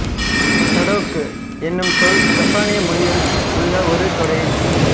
sudoku என்னும் சொல் சப்பானிய மொழியில் உள்ள ஒரு தொடரின்